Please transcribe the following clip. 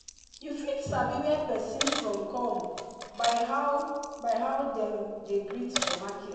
you fit sabi where persin from come by how by how dem dey greet for market.